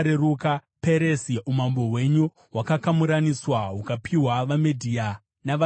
Peresi : Umambo hwenyu hwakakamuraniswa hukapiwa vaMedhia navaPezhia.”